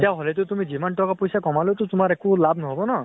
তেতিয়া হলে টো তুমি যিমান টকা পইচা কমালে তো তোমাৰ একো লাভ নহʼব ন?